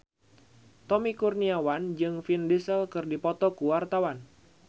Tommy Kurniawan jeung Vin Diesel keur dipoto ku wartawan